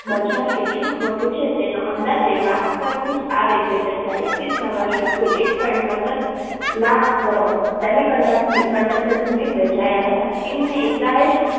બજાર કેટલું મોટું છે તેનો અંદાજ એના પરથી આવે કે બે હાજર ક્નાવીસ વર્ષમાં કુલ ક point પંદર લાખ કરોડ semiconductor semiconductor થી વેચાયા હતા ચીનને એકલાએ જ